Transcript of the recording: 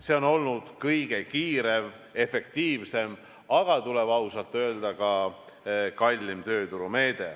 See on kõige kiirem ja efektiivsem, aga tuleb ausalt öelda, et ka kõige kallim tööturumeede.